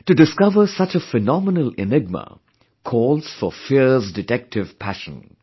To discover such a phenomenal enigma calls for fierce detective passion